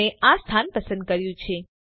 મેં આ સ્થાન પસંદ કર્યું છે